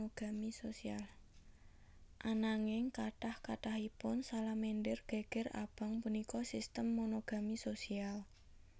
Ananging kathah kathahipun salamander geger abang punika sistem monogami sosial